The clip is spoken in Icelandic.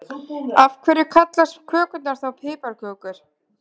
Af hverju kallast kökurnar þá piparkökur?